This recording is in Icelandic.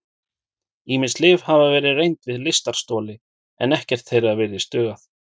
Ýmis lyf hafa verið reynd við lystarstoli en ekkert þeirra virðist duga.